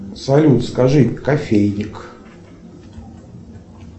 салют скажи кофейник